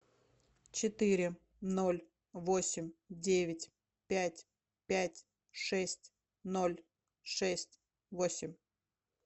четыре ноль восемь девять пять пять шесть ноль шесть восемь